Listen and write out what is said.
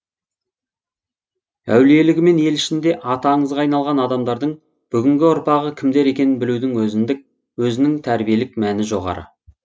әулиелігімен ел ішінде аты аңызға айналған адамдардың бүгінгі ұрпағы кімдер екенін білудің өзінің тәрбиелік мәні жоғары